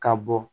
Ka bɔ